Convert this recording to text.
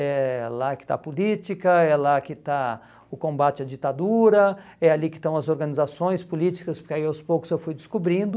É lá que está a política, é lá que está o combate à ditadura, é ali que estão as organizações políticas, porque aí aos poucos eu fui descobrindo.